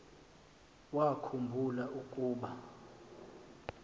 wakhu mbula ukuba